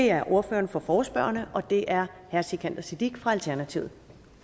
er ordføreren for forespørgerne og det er herre sikandar siddique fra alternativet